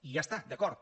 i ja està d’acord